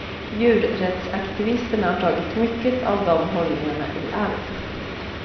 Djurrättsaktivisterna har tagit mycket av de hållningarna i arv.